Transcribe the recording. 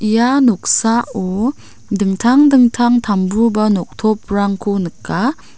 ia noksao dingtang dingtang tambu ba noktoprangko nika.